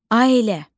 Ailə.